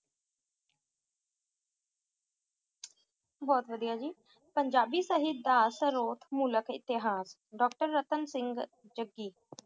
नहुत वडिआ जी पंजाबी साहिबाल मुल्क एतिहाद Doctor नतांग सींग जग्गी